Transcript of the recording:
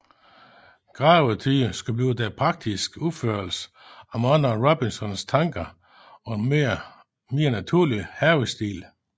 Gravetye skulle blive den praktiske udførelse af mange af Robinsons tanker om en mere naturlig havestil